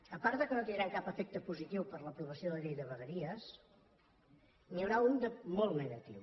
a part que no tindrem cap efecte positiu per l’aprovació de la llei de vegueries n’hi haurà un de molt negatiu